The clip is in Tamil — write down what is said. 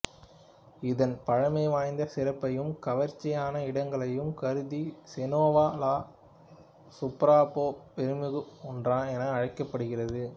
இதன் பழமைவாய்ந்த சிறப்பையும் கவர்ச்சியான இடங்களையும் கருதி செனோவா லா சூப்பர்பா பெருமைமிகு ஒன்று என அழைக்கப்படுகின்றது